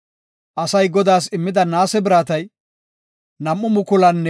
Asay Godaas immida naase biratay 2,425 kilo giraame.